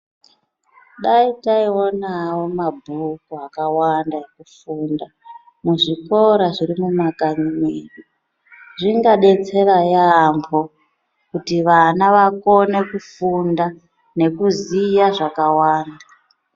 Dai taiwonawo mabhuku akawanda ekufunda muzvikora zviri mumakanyi medu zvingadetsera yaambo kuti vana vakone kufunda nekuziya zvakawanda.